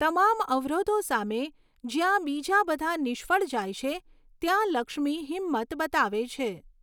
તમામ અવરોધો સામે, જ્યાં બીજા બધા નિષ્ફળ જાય છે, ત્યાં લક્ષ્મી હિંમત બતાવે છે.